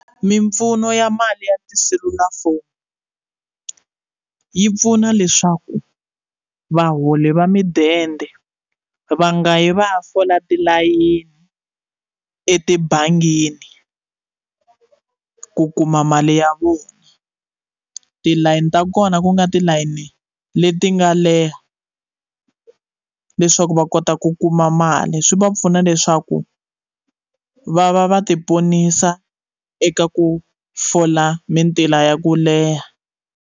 Mimpfuno ya mali ya tiselulafoni yi pfuna leswaku vaholi va midende va nga yi va ya fola tilayini etibangini ku kuma mali ya vona tilayini ta kona ku nga tilayini leti nga leha leswaku va kota ku kuma mali swi va pfuna leswaku va va va ti ponisa eka ku fola mintila ya ku leha.